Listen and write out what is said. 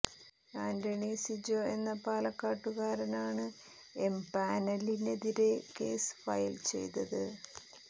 ആന്റണി സിജോ എന്ന പാലക്കാട്ടുകാരനാണ് എം പാനലിനെതിരെ കേസ് ഫയൽ ചെയ്തത്